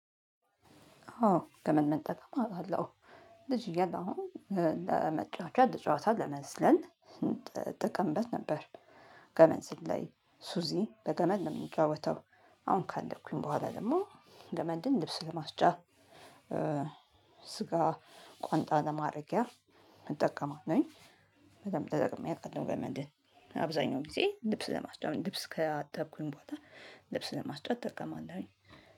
አዎ ገመድ መጠቀም አለው። ልጅ እያለሁ ለመጫወቻ ለጫወታ ለምዝለል እንተቀምበት ነበር። ገመን ዝላይ ሱዚ በገመድ መጫወተው። አሁን ካድኩኝ በኋላ ደግሞ ገመድን ልብስ ለማስጫ። ስጋ ቋንጣ ለማድረጊያ እጠቀማለሁኝ። በደንብ ተጠቅሜ አቃለሁ ገመድህ አብዛኛው ጊዜ ልብስ ለማስገባት ልብስ ከአጠብኩኝ ቦታ ልብስ ለማስጫ እጠቀማለሁኝ።